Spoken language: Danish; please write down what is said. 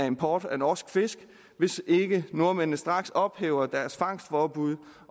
import af norsk fisk hvis ikke nordmændene straks ophæver deres fangstforbud